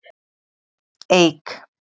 Eik